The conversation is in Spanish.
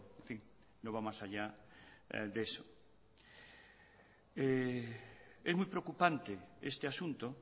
en fin no va más allá de eso es muy preocupante este asunto